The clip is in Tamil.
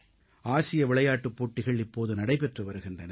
ஆசிய விளையாட்டுப் போட்டிகள் இப்போது நடைபெற்று வருகின்றன